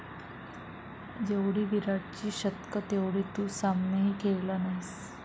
जेवढी विराटची शतकं तेवढे तू सामनेही खेळला नाहीस